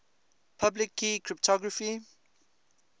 public key cryptography